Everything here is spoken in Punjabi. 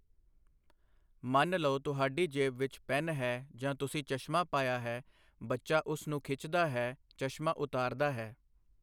ਮੰਨ ਲਓ ਤੁਹਾਡੀ ਜੇਬ ਵਿੱਚ ਪੈਨ ਹੈ ਜਾਂ ਤੁਸੀਂ ਚਸ਼ਮਾ ਪਾਇਆ ਹੈ, ਬੱਚਾ ਉਸ ਨੂੰ ਖਿੱਚਦਾ ਹੈ, ਚਸ਼ਮਾ ਉਤਾਰਦਾ ਹੈ।